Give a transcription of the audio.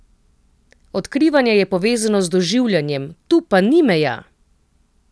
Odkrivanje je povezano z doživljanjem, tu pa ni meja!